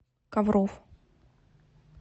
ковров